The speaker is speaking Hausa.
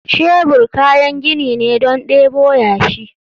Shebur kayan gini ne don debo yashi.